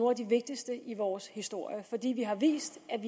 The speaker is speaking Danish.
af de vigtigste i vores historie fordi vi har vist at